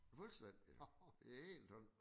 Fuldstændig det helt tombe